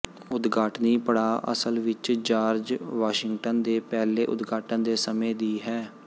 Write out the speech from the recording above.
ਉਦਘਾਟਨੀ ਪੜਾਅ ਅਸਲ ਵਿੱਚ ਜਾਰਜ ਵਾਸ਼ਿੰਗਟਨ ਦੇ ਪਹਿਲੇ ਉਦਘਾਟਨ ਦੇ ਸਮੇਂ ਦੀ ਹੈ